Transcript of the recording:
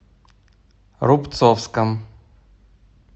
рубцовском